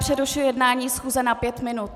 Přerušuji jednání schůze na pět minut.